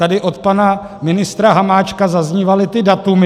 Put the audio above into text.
Tady od pana ministra Hamáčka zaznívala ta data.